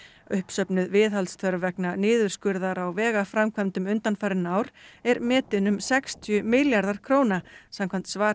uppsöfnuð viðhaldsþörf vegna niðurskurðar á vegaframkvæmdum undanfarin ár er metin um sextíu milljarðar króna samkvæmt svari